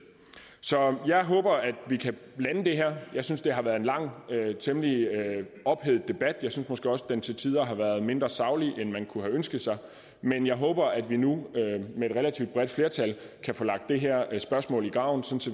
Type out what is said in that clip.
så jeg håber at vi kan lande det her jeg synes det har været en lang og temmelig ophedet debat jeg synes måske også at den til tider har været mindre saglig end man kunne have ønsket men jeg håber at vi nu med et relativt bredt flertal kan få lagt det her spørgsmål i graven så